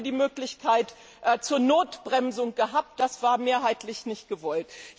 Da hätten wir die Möglichkeit zur Notbremsung gehabt, das war mehrheitlich nicht gewollt.